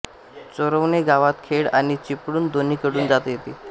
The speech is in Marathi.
चोरवणे गावात खेड आणि चिपळूण दोन्हीकडून जाता येते